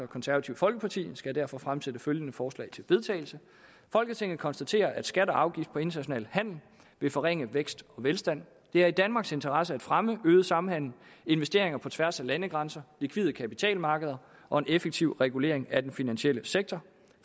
konservative folkeparti skal jeg derfor fremsætte følgende forslag til vedtagelse folketinget konstaterer at skat og afgift på international handel vil forringe vækst og velstand det er i danmarks interesse at fremme øget samhandel investeringer på tværs af landegrænser likvide kapitalmarkeder og en effektiv regulering af den finansielle sektor